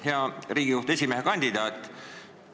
Hea Riigikohtu esimehe kandidaat!